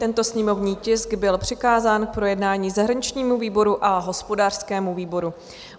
Tento sněmovní tisk byl přikázán k projednání zahraničnímu výboru a hospodářskému výboru.